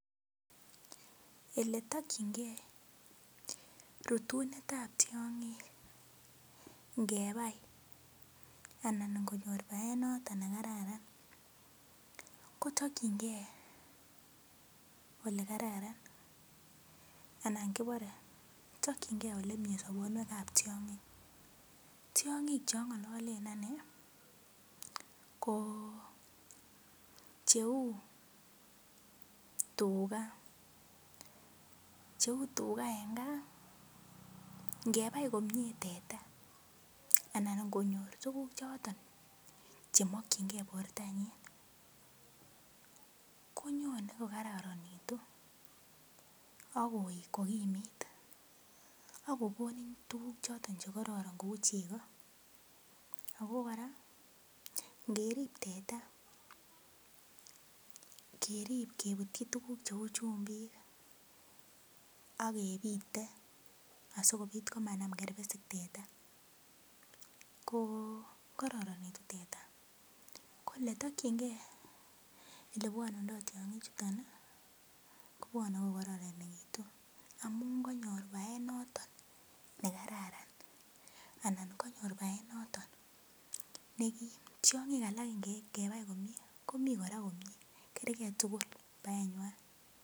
Oletokchinkei rutunet ap tiong'ik ngepai anan ngonyor paet noto nekararan kotokchinkei olekaran anan koporei tokchinkei olemie sopondo ng'wan ap tiong'ik tiong'ik chongololen ane ko cheu tuka eng kaa ngepai komie teta anan ngonyor tukuk choton chemokchinkei portonyi konyone kokararanitu akoet kokimit akokonin tukuk choton chekororon kou cheko ako kora ngerip teta kerip keputchin tukuk cheu chumbik akepite asikopit komanam kerpesik teta ko kororonitu teta ole tokchinke oleipwotitoi tiong'ik chuton kopwoni kokararanitu amun kanyor paet noton nekararan anan konyor paet neki tiong'ik alak ngepai komie komie kora komie kerkei tukul paengwai